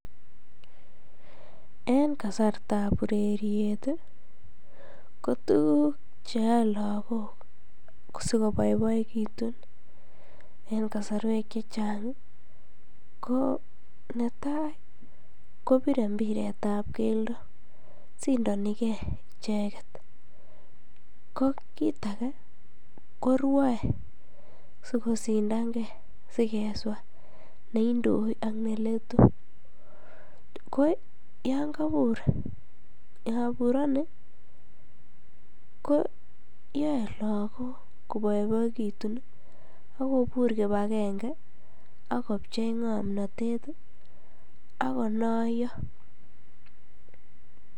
En kasartab ureriet ii, ko tukuk che yoe lagok sikoboiboekitun en kasarwek che chang ii, ko ne tai kopire mpiretab keldo, sindonikei icheket, ko kiit ake, korwoe si kosindankei sikeswa neindoi ak ne letu, ko yan kabur, kaburoni ko yoe lagok koboiboekitun ii ak kobur kibakenge ak kopchei ngomnotet ii ak konoiyo.